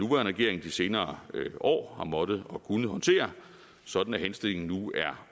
regering i de senere år har måttet og kunnet håndtere sådan at henstillingen nu er